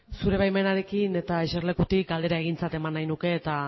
zure baimenarekin eta eserlekutik galdera egintzat eman nahi nuke eta